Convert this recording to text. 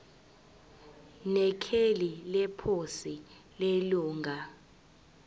nekheli leposi lelunga